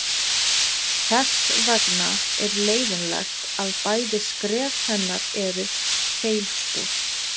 Þess vegna er leiðinlegt að bæði skref hennar eru feilspor.